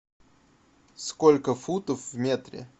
сколько футов в метре